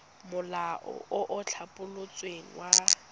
molao o o tlhabolotsweng wa